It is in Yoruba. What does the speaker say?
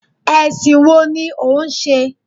Ẹ̀sìn wo ni ò ń ṣe?